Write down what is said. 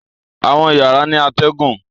Àwọn yàrá ní atégùn.